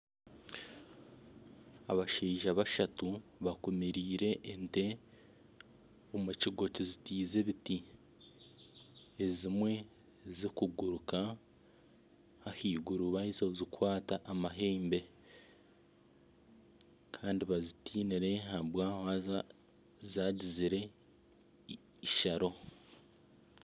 Abashaija bashatu bakumiriire ente omurugo ruzitiriize ebiti ezimwe zikuguruka ahaiguru baheza kuzikwata amahembe Kandi bazitinire zagizire isharo